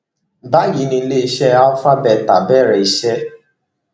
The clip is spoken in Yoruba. báyìí ni iléeṣẹ alpha beta bẹrẹ iṣẹ